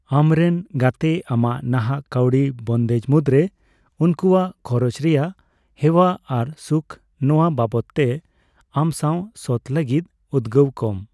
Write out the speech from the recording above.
ᱟᱢᱨᱮᱱ ᱜᱟᱛᱮ ᱟᱢᱟᱜ ᱱᱟᱦᱟᱜ ᱠᱟᱹᱣᱰᱤ ᱵᱚᱱᱫᱮᱡ ᱢᱩᱫᱨᱮ ᱩᱱᱠᱩᱣᱟᱜ ᱠᱷᱚᱨᱚᱪ ᱨᱮᱭᱟᱜ ᱦᱮᱣᱟ ᱟᱨ ᱥᱩᱠᱷ, ᱱᱚᱣᱟ ᱵᱟᱵᱚᱛᱼᱛᱮ ᱟᱢᱥᱟᱣ ᱥᱚᱛ ᱞᱟᱹᱜᱤᱫ ᱩᱫᱜᱟᱹᱣ ᱠᱚᱢ ᱾